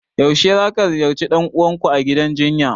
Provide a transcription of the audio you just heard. Yaushe zaka ziyarci dan uwanku a gidan jinya?